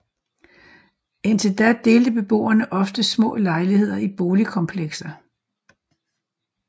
Indtil da delte beboere ofte små lejligheder i boligkomplekser